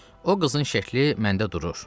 O qızın şəkli məndə durur.